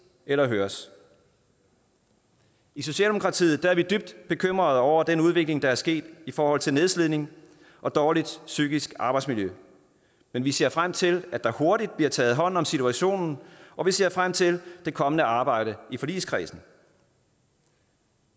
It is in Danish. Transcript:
eller høres i socialdemokratiet er vi dybt bekymrede over den udvikling der er sket i forhold til nedslidning og dårligt psykisk arbejdsmiljø men vi ser frem til at der hurtigt bliver taget hånd om situationen og vi ser frem til det kommende arbejde i forligskredsen